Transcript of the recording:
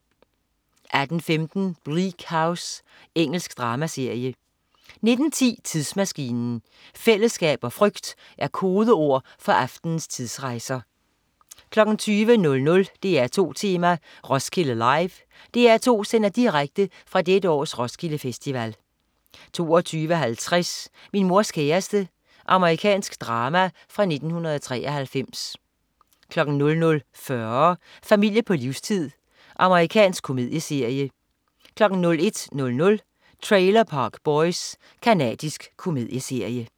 18.15 Bleak House. Engelsk dramaserie 19.10 Tidsmaskinen. Fællesskab og frygt er kodeord for aftenens tidsrejser 20.00 DR2 Tema: Roskilde Live. DR2 sender direkte fra dette års Roskilde Festival 22.50 Min mors kæreste. Amerikansk drama fra 1993 00.40 Familie på livstid. Amerikansk komedieserie 01.00 Trailer Park Boys. Canadisk komedieserie